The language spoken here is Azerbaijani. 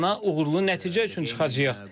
Meydana uğurlu nəticə üçün çıxacağıq.